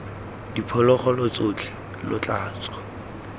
diphologolo tsotlhe lo tla tswa